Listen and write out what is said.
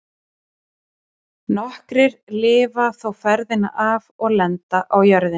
Nokkrir lifa þó ferðina af og lenda á jörðinni.